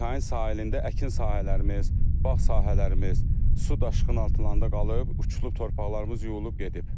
Çayın sahilində əkin sahələrimiz, bağ sahələrimiz su daşqını altında qalıb, uçulub torpaqlarımız yuyulub gedib.